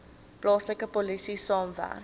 plaaslike polisie saamwerk